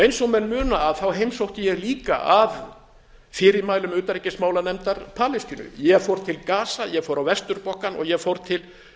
eins og menn muna heimsótti ég líka að fyrirmælum utanríkismálanefndar palestínu ég fór fól gaza ég fór á vesturbakkann og ég fór til